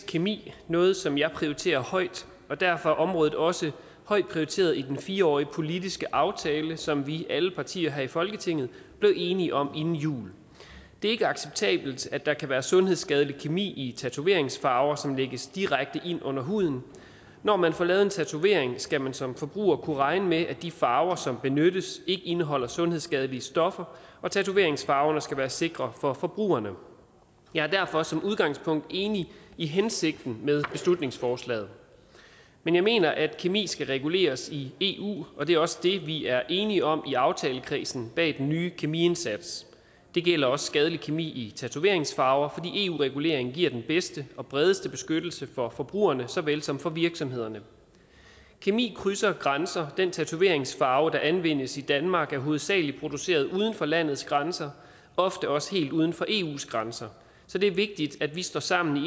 kemi noget som jeg prioriterer højt og derfor er området også højt prioriteret i den fire årige politiske aftale som vi alle partier her i folketinget blev enige om inden jul det er ikke acceptabelt at der kan være sundhedsskadelig kemi i tatoveringsfarver som lægges direkte ind under huden når man får lavet en tatovering skal man som forbruger kunne regne med at de farver som benyttes ikke indeholder sundhedsskadelige stoffer og tatoveringsfarverne skal være sikre for forbrugerne jeg er derfor som udgangspunkt enig i hensigten med beslutningsforslaget men jeg mener at kemi skal reguleres i eu og det er også det vi er enige om i aftalekredsen bag den nye kemiindsats det gælder også skadelig kemi i tatoveringsfarver fordi eu regulering giver den bedste og bredeste beskyttelse for forbrugerne såvel som for virksomhederne kemi krydser grænser den tatoveringsfarver der anvendes i danmark er hovedsagelig produceret uden for landets grænser ofte også helt uden for eus grænser så det er vigtigt at vi står sammen i